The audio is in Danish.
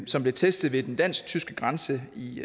som blev testet ved den dansk tyske grænse i